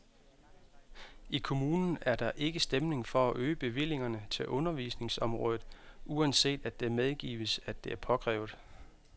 I kommunen er der ikke stemning for at øge bevillingerne til undervisningsområdet, uanset at det medgives, at det er påkrævet.